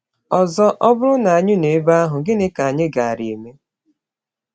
Ọzọ, ọ bụrụ na anyị nọ ebe ahụ, gịnị ka anyị gaara eme?